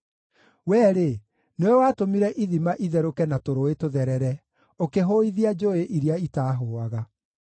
Wee-rĩ, nĩwe watũmire ithima itherũke na tũrũũĩ tũtherere, ũkĩhũithia njũũĩ iria itahũaga.